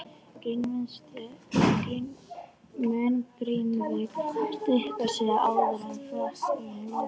Mun Grindavík styrkja sig áður en félagaskiptaglugginn lokar?